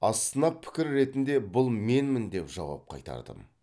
астына пікір ретінде бұл менмін деп жауап қайтардым